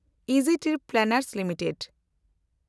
Easy Trip Planners limited